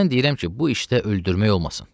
Mən deyirəm ki, bu işdə öldürmək olmasın.